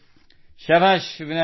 ಉತ್ಸಾಹ ಹೇಗಿದೆ how is the जोश